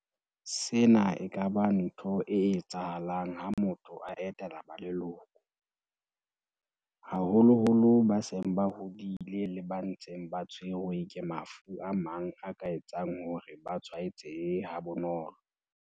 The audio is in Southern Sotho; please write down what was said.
Sena e ka ba ntho e etsa halang ha motho a etela ba leloko, haholo-holo ba seng ba hodile le ba ntseng ba tshwerwe ke mafu a mang a ka etsang hore ba tshwae tsehe ha bonolo.